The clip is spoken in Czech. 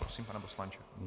Prosím, pane poslanče.